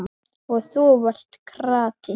Og þú varst krati.